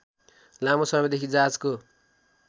लामो समयदेखि जहाजको